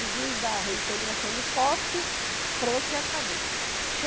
O juiz dá a reintegração de posse, pronto e acabou.